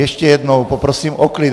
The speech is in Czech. Ještě jednou poprosím o klid.